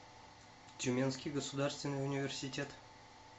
тюменский государственный университет